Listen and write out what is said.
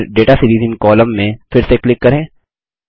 फिर data series in column में फिर से क्लिक करें